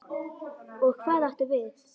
Og hvað áttu við?